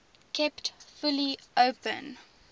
kept fully open